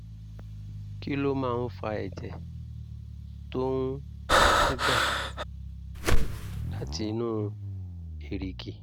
kí ló máa ń fa ẹ̀jẹ̀ tó ń ń dà um láti inú èrìgì?